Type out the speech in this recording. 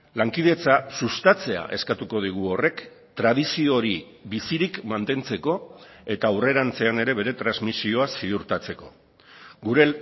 lankidetza sustatzea eskatuko digu horrek tradizio hori bizirik mantentzeko eta aurrerantzean ere bere transmisioa ziurtatzeko gure